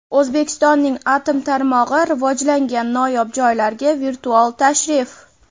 O‘zbekistonning atom tarmog‘i rivojlangan noyob joylarga virtual tashrif.